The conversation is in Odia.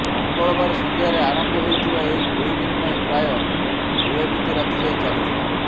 ମଙ୍ଗଳବାର ସଂଧ୍ୟାରେ ଆରମ୍ଭ ହୋଇଥିବା ଏହି ଗୁଳିବିନିମୟ ପ୍ରାୟ ବିଳମ୍ବିତ ରାତି ଯାଏ ଚାଲିଥିଲା